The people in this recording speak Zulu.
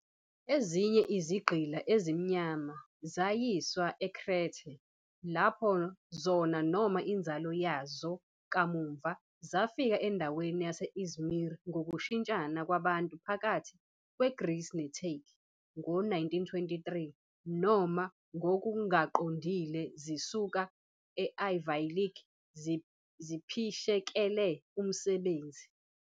Ezinye izigqila ezimnyama zayiswa eKrethe, lapho zona noma inzalo yazo kamuva zafika endaweni yase-İzmir ngokushintshana kwabantu phakathi kweGreece neTurkey ngo-1923, noma ngokungaqondile zisuka e-Ayvalık ziphishekela umsebenzi.